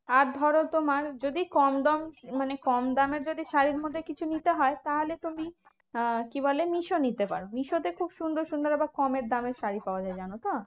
আর ধরো তোমার যদি কম দাম মানে কম দামের যদি শাড়ীর মধ্যে কিছু নিতে হয় তাহলে তুমি আহ কি বলে? মিশো নিতে পারো। মিশোতে খুব সুন্দর সুন্দর আবার কমের দামের শাড়ী পাওয়া যায় জানতো?